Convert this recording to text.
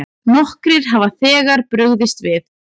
Nokkrir hafa þegar brugðist við.